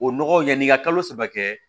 O nɔgɔ yani i ka kalo saba kɛ